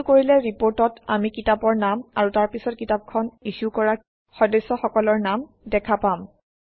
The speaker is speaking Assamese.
এইটো কৰিলে ৰিপৰ্টত আমি কিতাপৰ নাম আৰু তাৰপিছত কিতাপখন ইছ্যু কৰা সদস্যসকলৰ নাম দেখা পাম